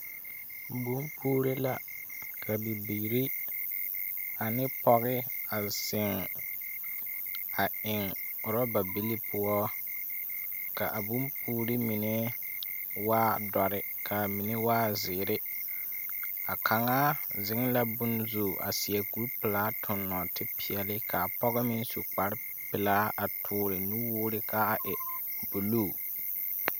BompuurI la ka bibiiri ane pɔge a zeŋ a eŋ oraba bili poɔ, ka a bompuuri mine waa dɔre kaa mine waa zeere. A kaŋaa zeŋ la bonzu a seɛ kurpelaa toŋ nɔɔtepeɛle. Kaa pɔgɔ meŋ su kparpelaa a toore nuwoore kaa e buluu.